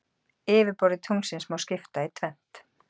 Yfirborði tunglsins má skipta í tvennt.